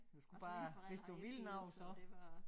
Altså mine forældre havde ikke bil så det var